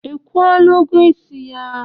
I kwụọla ụgwọ isi ya?